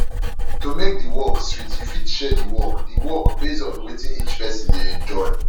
to make di work sweet you fit share di work di work based on wetin each person dey enjoy